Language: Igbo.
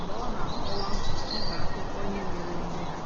mg̀bé ọ́ nà-àkọ́wá m̀kpà àkụ́kọ̀ íhé mèéré èmé há.